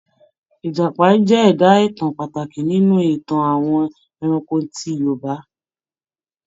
Ìjàpá jẹ́ ẹ̀dá-ìtàn pàtàkì nínú Ìtàn àwọn ẹranko ti Yorùbá.